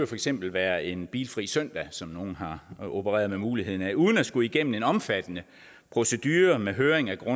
for eksempel være en bilfri søndag som nogle har opereret med muligheden af uden at skulle igennem en omfattende procedure med høring af